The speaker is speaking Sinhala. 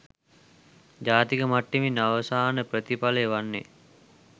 ජාතික මට්ටමින් අවසාන ප්‍රතිඵලය වන්නේ